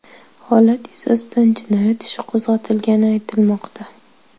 Holat yuzasidan jinoyat ishi qo‘zg‘atilgani aytilmoqda.